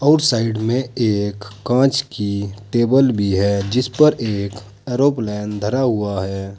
उस साइड में एक कांच की टेबल भी है जिस पर एक एरोप्लेन धरा हुआ है।